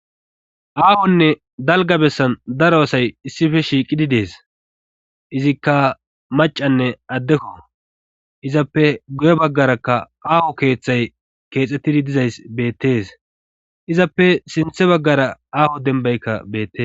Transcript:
aahonne dalga bessan daro asay issife shiiqidi dees izikka macanne addekko izappe goye baggarakka aaho keeththay keexxettidi dizays beettes izappe sinthe baggara aaho denbaykka beette